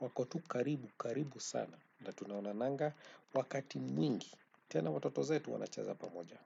Wako tu karibu karibu sana na tunaonananga wakati mwingi tena watoto zetu wanacheza pamoja.